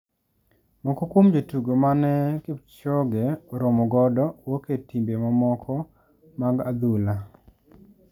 Moko kuom jo tugo maen Kipchoge oromo godo wuok e timbe mamoko mag adhula.